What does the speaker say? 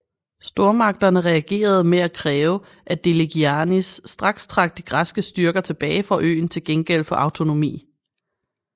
Stormagterne reagerede med at kræve at Deligiannis straks trak de græske styrker tilbage fra øen til gengæld for autonomi